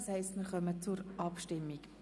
Wir kommen zur Abstimmung.